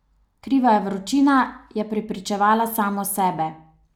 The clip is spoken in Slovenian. Kriva je vročina, je prepričevala samo sebe.